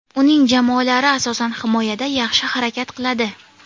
Uning jamoalari asosan, himoyada yaxshi harakat qiladi.